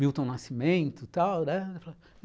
Milton Nascimento., tal, né?